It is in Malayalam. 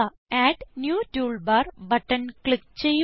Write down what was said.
add new toolbar button click ചെയ്യുക